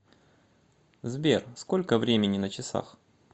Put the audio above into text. сбер сколько времени на часах